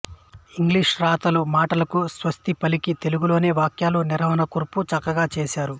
English రాతలు మాటలకు స్వస్తి పలికి తెలుగులోనే వాక్యాలు నిర్మాణకూర్పు చక్కగా చేశారు